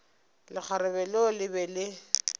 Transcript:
lekgarebe leo le be le